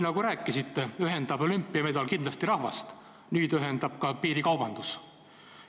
Nagu te rääkisite, olümpiamedal ühendab rahvast kindlasti, aga nüüd ühendab rahvast ka piirikaubandus.